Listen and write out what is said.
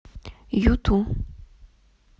юту